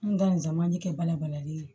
N ga nin jama ye kɛ bala balalen ye